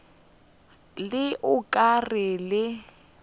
le o ka rego le